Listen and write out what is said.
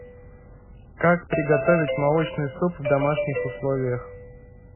как приготовить молочный суп в домашних условиях